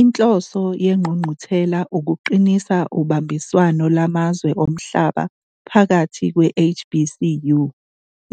Inhloso yengqungquthela ukuqinisa ubambiswano lwamazwe omhlaba phakathi kwe-HBCU,